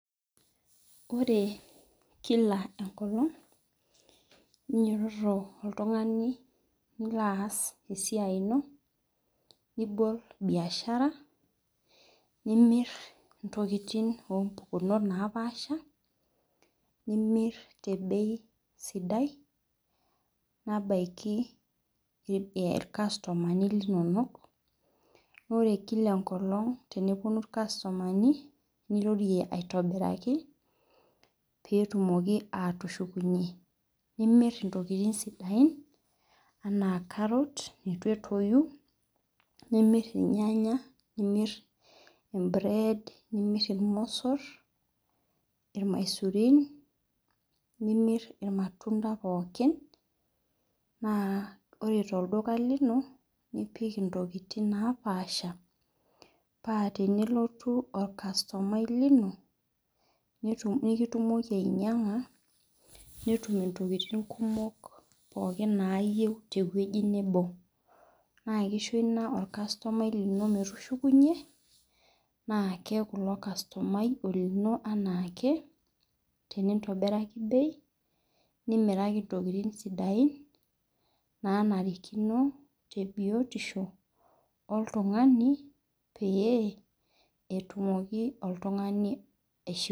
Ore kila enkolong ninyototo oltungani nilo aas esiai ino nibol biashara nimir ntokitin ombei napaasha petum irkastomani linonok ore kila enkolong eneponu irkastomani nirorie aitobiraki petumoki atushukunye nimir ntokitin sidain ana karot ituetoi nimir irnyanya, nimir irmosor, irmaisurin nimir irmatunda pooki ore tolduka lino nipik ntokitin napaasha pa tenelotu orkastomai lino nekitumoki ainyanga netum ntokitin nayieu tewoi nebo na kisho i a orkastomai lino metukushukunye na keaku ilokastomai olino anaake entintobiraki bei nimiraki ntokitin sidain nanarikino tebiotisho oltungani peyie etumoki oltungani aishiu.